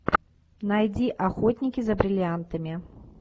найди охотники за бриллиантами